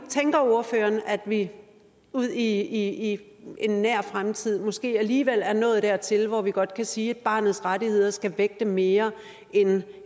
tænker ordføreren at vi ud i en nær fremtid måske alligevel er nået dertil hvor vi godt kan sige at barnets rettigheder skal vægte mere end